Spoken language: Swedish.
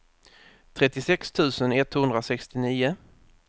trettiosex tusen etthundrasextionio